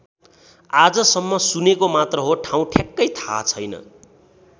आजसम्म सुनेको मात्र हो ठाउँ ठ्याक्कै थाहा छैन।